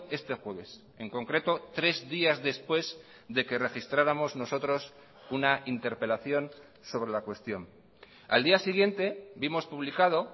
este jueves en concreto tres días después de que registráramos nosotros una interpelación sobre la cuestión al día siguiente vimos publicado